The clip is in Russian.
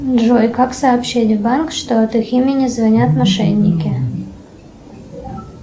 джой как сообщить в банк что от их имени звонят мошенники